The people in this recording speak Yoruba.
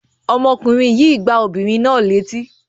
Ọmọkùnrin yìí gbá obìnrin náà létí?